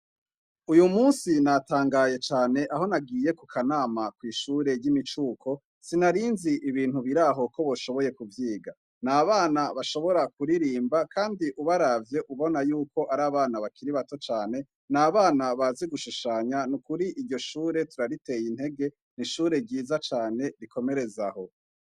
Uyu musi natangaye cane aho nagiye ku kanama kw'ishure ry'imicuko, sinarinzi ibintu biraho ko boshoboye kuvyiga. Ni abana bashoboye kuririmba kandi ubaravye ubona yuko ari abana bakiri bato cane, ni abana bazi gushushanya, ni ukuri iryo shure turariteye intege, ni ishure ryiza cane rikomereze aho.